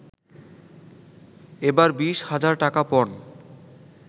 এবার বিশ হাজার টাকা পণ